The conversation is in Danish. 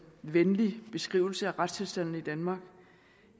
venlig beskrivelse af retstilstanden i danmark